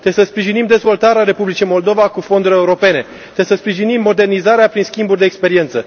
Trebuie să sprijinim dezvoltarea Republicii Moldova cu fonduri europene, trebuie să sprijinim modernizarea prin schimburi de experiență.